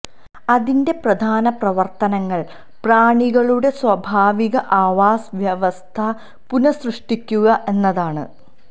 അതിന്റെ പ്രധാന പ്രവർത്തനങ്ങൾ പ്രാണികളുടെ സ്വാഭാവിക ആവാസ വ്യവസ്ഥ പുനഃസൃഷ്ടിക്കുക എന്നതാണ്